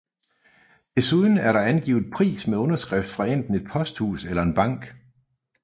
Desuden er der afgivet pris med underskrift fra enten et posthus eller en bank